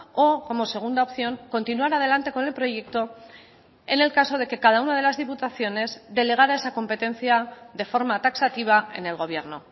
o como segunda opción continuar adelante con el proyecto en el caso de que cada una de las diputaciones delegara esa competencia de forma taxativa en el gobierno